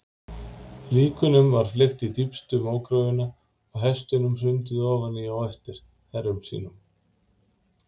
Líkunum var fleygt í dýpstu mógröfina og hestunum hrundið ofan í á eftir herrum sínum.